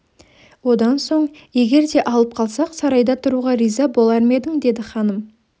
одан соң егер де алып қалсақ сарайда тұруға риза болар ма едің деді ханым